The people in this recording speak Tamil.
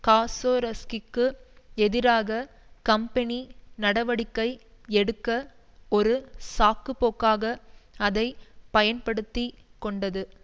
காசோரோஸ்கிக்கு எதிராக கம்பெனி நடவடிக்கை எடுக்க ஒரு சாக்கு போக்காக அதை பயன்படுத்தி கொண்டது